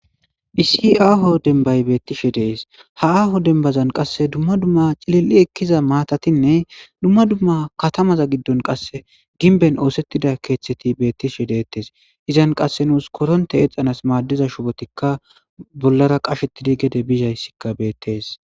iisi aaho denbay beettishe dees ha aaho denbazan qasse dumma dumma cilil7i ekkiza maatatinne dumma dumma katamaza giddon qasse ginben oosettida keeththeti beettishe deettes izan qasse nuus koronte eexxanas maaddiza shubotikka bollara qashettidi gede bizayssikka beettees